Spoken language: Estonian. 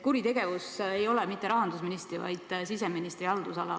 Kuritegevus ei ole mitte rahandusministri, vaid siseministri haldusalas.